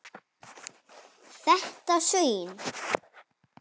Þetta svín.